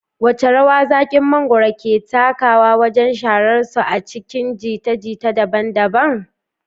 Wace rawa zakin mangwaro ke takawa wajen shahararsu a cikin jita-jita daban-daban?